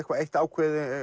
eitt ákveðið